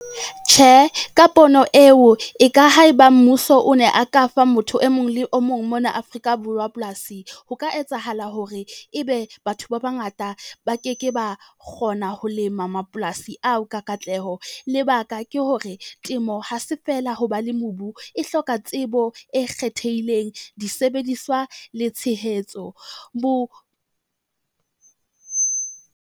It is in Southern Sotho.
Tjhe, ka pono eo e ka ha eba mmuso o ne a ka fa motho e mong le o mong mona Afrika Borwa polasi, ho ka etsahala hore ebe batho ba bangata ba ke ke ba kgona ho lema mapolasi ao ka katleho. Lebaka ke hore temo ha se fela hoba le mobu e hloka tsebo e kgethehileng, disebediswa le tshehetso bo.